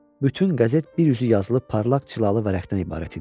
Bütün qəzet bir üzü yazılıb parlaq cilalı vərəqdən ibarət idi.